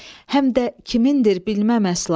Həm də kimindir bilməm əsla.